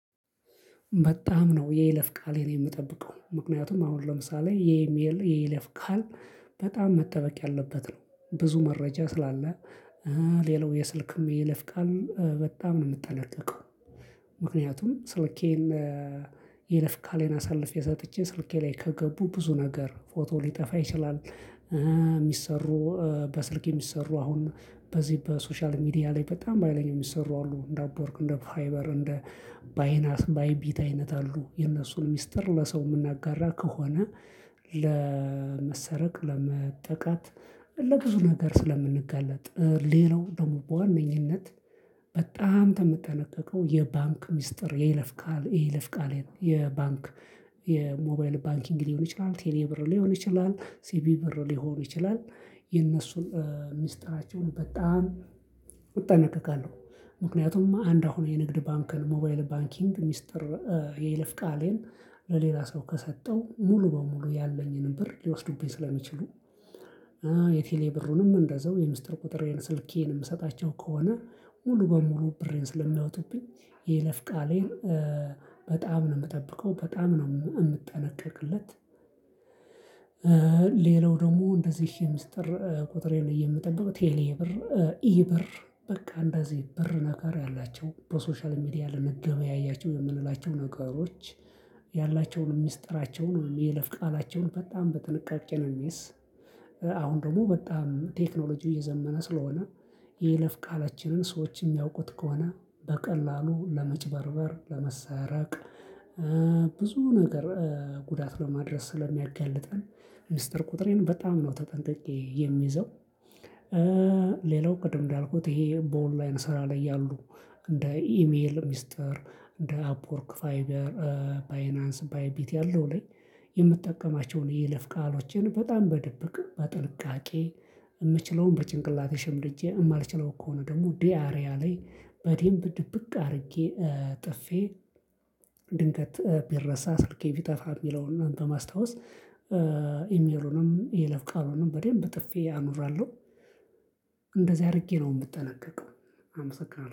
በጣም ነው የይለፍ ቃሌን የምጠብቀው ምክንያቱም አሁን ለምሳሌ የኢሜል የይለፍ ቃል በጣም መጠበቅ ያለበት ነው ብዙ መረጃ ስላለ። ሌላው የስልክም የይለፍቃል በጣም ነው የምንጠነቀቀው። ምክንያቱም ስልኬን ይለፍ ቃሌን አሳልፌ ሰጥቼ ስልኬ ላይ ከገቡ ብዙ ነገር ፎቶ ሊጠፋ ይችላል። የሚሰሩ በስልክ የሚሰሩ አሁን በዚህ በሶሻል ሚዲያ ላይ በጣም በሃይለኛው የሚሰሩ አሉ እንደ አፖርክ እንደ ፋይበር እንደ ባይናስ ባይቢት አይነት አሉ የነሱን ሚስጥር ለሰው የምናጋራ ከሆነ። ለመሰረቅ ለመጠቃት ለብዙ ነገር ስለምንጋለጥ። ሌላው ደግሞ በዋነኝነት በጣም የምጠነቀቀው የባንክ ሚስጥር የይለፍ ቃል የይለፍ ቃል የባንክ የሞባይል ባንኪንግ ሊሆን ይችላል ቴሌ ብር ሊሆን ይችላል ሲቪ ብር ሊሆን ይችላል። የነሱን ሚስጥራቸውን በጣም እጠነቀቃለሁ። ምክንያቱም አንድ አሁን የንግድ ባንክ ሞባይል ባንኪንግ ሚስጥር የይልፍ ቃሌን ለሌላ ሰው ከሰጠው ሙሉ በሙሉ ያለኝን ብር ሊወስዱብኝ ስለሚችሉ። የቴሌ ብሩንም እንደዛው የምስጢር ቁጥር የሆነ ስልኬንም እሰጣቸው ከሆነ ሙሉ በሙሉ ብሬን ስለሚያወጡብኝ። ይለፍቃሌን በጣም ነው የምጠብቀው በጣም ነው የምጠነቀቅለት። ሌላው ደግሞ እንደዚህ የምስጢር ቁጥሬ የምጠብቀው ቴሌ ብር ኢብር በቃ እንደዚህ ብር ነገር ያላቸው በሶሻል ሚዲያ ለመገበያያቸው የምንላቸው ነገሮች። ያላቸውንም ሚስጥራቸውንም የይለፍ ቃላቸውን በጣም በጥንቃቄ ነው የምይዝ። አሁን ደግሞ በጣም ቴክኖሎጂ እየዘመነ ስለሆነ የይለፍ ቃላችንን ሰዎች የሚያውቁት ከሆነ በቀላሉ ለመጭበርበር ለመሰረቅ። ብዙ ነገር ጉዳት ለማድረስ ስለሚያጋልጠን። ሚስጥር ቁጥሬን በጣም ነው ተጠንቅቄ የሚይዘው። ሌላው ቅድም እንዳልኩት ይሄ በኦንላይን ስራ ላይ ያሉ እንደ ኢሜል ሚስጥር እንደ አፕወርክ ፋይበር ባይናንስ ባይቢት ያለው ላይ የምጠቀማቸውን የይለፍ ቃሎችን በጣም በድብቅ በጥንቃቄ። የምችለውን በጭንቅላቴ ሽምድጄ የማልችለው ከሆነ ደግሞ ዲያሪያ ላይ በዴምብ ድብቅ አድርጌ ጥፌ። ድንገት ቢረሳ ስልኬ ቢጠፋ የሚለውና በማስታወስ ኢሜሉንም የይለፍ ቃሉንም በደንብ ጥፌ አኑራለሁ። እንደዚህ አድርጌ ነው የምጠነቀቀው አመሰግናለሁ